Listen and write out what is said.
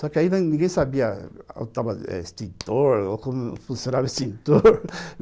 Só que aí ninguém sabia se onde estava extintor ou como funcionava o extintor